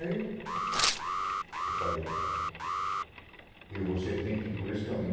Aí, eu falei, e você tem que ir por esse caminho.